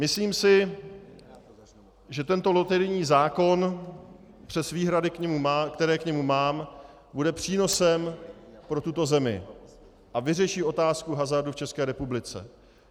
Myslím si, že tento loterijní zákon přes výhrady, které k němu mám, bude přínosem pro tuto zemi a vyřeší otázku hazardu v České republice.